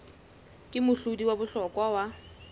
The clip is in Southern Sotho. ke mohlodi wa bohlokwa wa